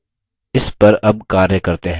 चलिए इस पर अब कार्य करते हैं